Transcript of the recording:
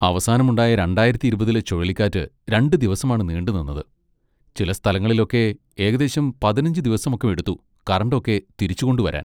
അവസാനം ഉണ്ടായ രണ്ടായിരത്തി ഇരുപതിലെ ചുഴലിക്കാറ്റ് രണ്ട് ദിവസമാണ് നീണ്ടുനിന്നത്, ചില സ്ഥലങ്ങളിലൊക്കെ ഏകദേശം പതിനഞ്ച് ദിവസം ഒക്കെ എടുത്തു കറണ്ട് ഒക്കെ തിരിച്ചു കൊണ്ടുവരാൻ.